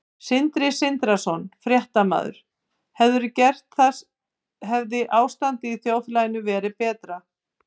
Sindri Sindrason, fréttamaður: Hefðirðu gert það hefði ástandið í þjóðfélaginu verið betra?